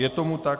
Je tomu tak.